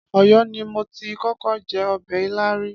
Ọ̀yọ́ ni mo ti kọ́kọ́ jẹ ọbẹ̀ ilá rí.